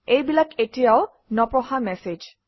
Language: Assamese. এইবিলাক এতিয়াও নপঢ়া মেচেজ